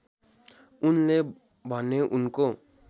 उनले भने उनको